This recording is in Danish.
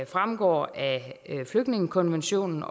fremgår af flygtningekonventionen